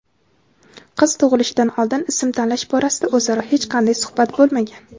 qiz tug‘ilishidan oldin ism tanlash borasida o‘zaro hech qanday suhbat bo‘lmagan.